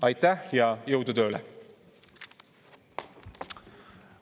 Aitäh ja jõudu tööle!